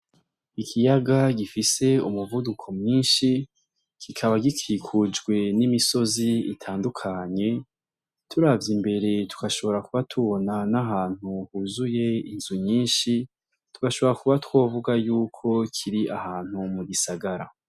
Ikiyaga gifise umuvuduko mwinshi, kikaba gikikujwe n'imisozi itandukanye, turavye imbere tugashobora kuba tubona n'ahantu huzuye inzu nyinshi, tugashobora kuba twovuga ko kiri ahantu mu gisagara.